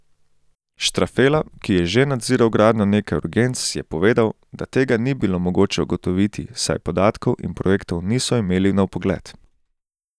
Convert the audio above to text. Štrafela, ki je že nadziral gradnjo nekaj urgenc, je povedal, da tega ni bilo mogoče ugotoviti, saj podatkov in projektov niso imeli na vpogled.